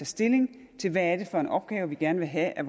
stilling til hvad det er for en opgave de gerne vil have at